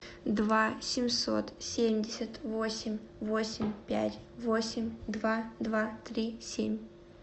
два семьсот семьдесят восемь восемь пять восемь два два три семь